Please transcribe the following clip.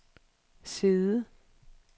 side